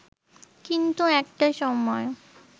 কিন্তু একটা সময়